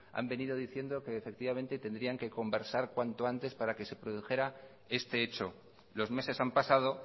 han venido diciendo que efectivamente tendría que conversar cuantos antes para que se produjera este hecho los meses han pasado